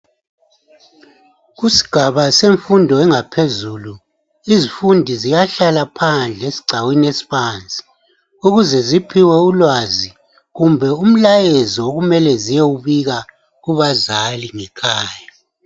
Kusigaba semfundo engaphezulu izifundi ziyahlala phandle esigcawini esibanzi ukuze ziphiwe ulwazi kumbe umlayezo okumele ziyewubika kubazali ngekhaya.